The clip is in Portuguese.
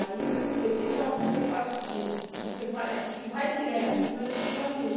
Aí, ele disse, olha, você faz o seguinte, você vai aqui, vai direto, não entra em lugar nenhum.